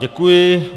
Děkuji.